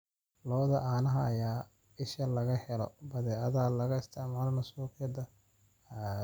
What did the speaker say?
Lo'da caanaha ayaa ah isha laga helo badeecadaha laga isticmaalo suuqyada caalamiga ah.